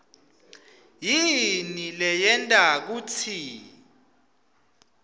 yini leyenta kutsi